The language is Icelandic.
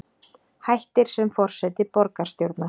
Hættir sem forseti borgarstjórnar